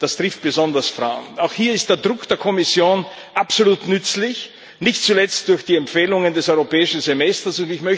Das trifft besonders Frauen. Auch hier ist der Druck der Kommission absolut nützlich, nicht zuletzt durch die Empfehlungen des Europäischen Semesters.